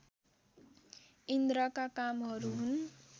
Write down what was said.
इन्द्रका कामहरू हुन्